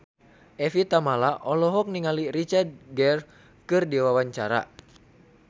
Evie Tamala olohok ningali Richard Gere keur diwawancara